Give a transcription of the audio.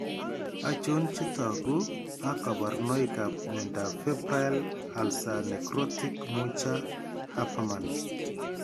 Achon chetogu ak kaborunoik ab miondab febrile ulceronecrotic Mucha Habermann